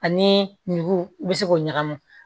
Ani nugu i bɛ se k'o ɲagami